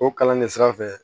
O kalan de sira fɛ